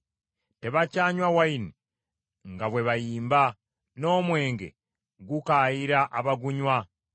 Tebakyanywa nvinnyo nga bwe bayimba, n’omwenge gukaayira abagunywa.